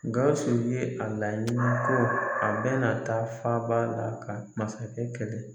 GAWUSU ye a laɲini ko a bɛna taa faaba la ka masakɛ kɛlɛ.